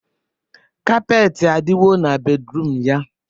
kapeetị adịghọ na bedruum ya